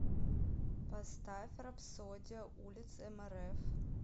поставь рапсодия улиц эмэрэф